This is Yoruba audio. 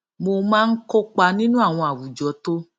mo máa ń kópa nínú àwọn àwùjọ tó